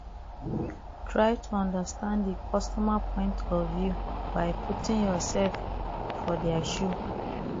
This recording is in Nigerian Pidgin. try to understand di customer point of view by putting yourself for their shoe